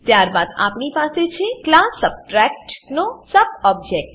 ત્યારબાદ આપણી પાસે છે ક્લાસ સબટ્રેક્ટ નો સબ્ટ ઓબ્જેક્ટ